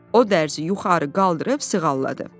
O dərzi yuxarı qaldırıb sığalladı.